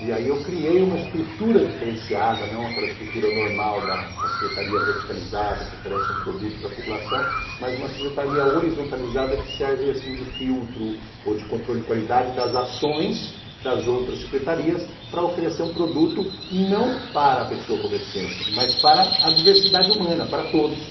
E aí eu criei uma estrutura diferenciada, não aquela estrutura normal da secretaria verticalizada que oferece um produto para a população, mas uma secretaria horizontalizada que serve assim de filtro ou de controle de qualidade das ações das outras secretarias para oferecer um produto não para a pessoa com deficiência, mas para a diversidade humana, para todos.